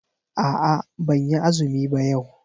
A'a ban yi azumi ba yau.